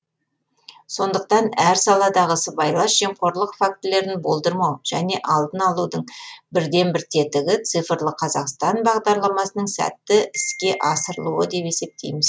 сондықтан әр саладағы сыбайлас жемқорлық фактілерін болдырмау және алдын алудың бірден бір тетігі цифрлы қазақстан бағдарламасының сәтті әске асырылуы деп есептейміз